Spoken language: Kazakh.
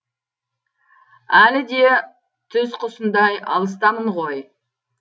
әлі де түз құсындай алыстамын ғой